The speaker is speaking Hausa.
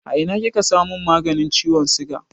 A ina kika samun maganin ciwon siga?